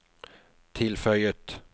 tilføyet